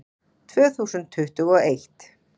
Tvö þúsund tuttugu og eitt